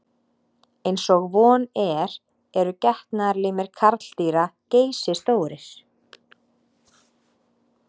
Eins og von er eru getnaðarlimir karldýra geysistórir.